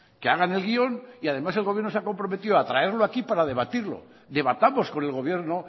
que hagan el guión y además el gobierno se ha comprometido a traerlo aquí para debatirlo debatamos con el gobierno